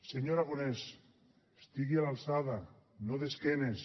senyor aragonès estigui a l’alçada no d’esquena